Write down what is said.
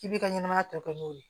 K'i bi ka ɲɛnamaya tɔ kɛ n'o ye